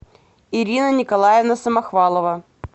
ирина николаевна самохвалова